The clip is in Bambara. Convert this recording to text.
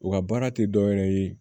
U ka baara tɛ dɔ wɛrɛ ye